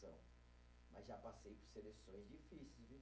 Mas já passei por seleções difíceis, viu?